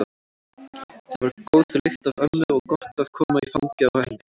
Það var góð lykt af ömmu og gott að koma í fangið á henni.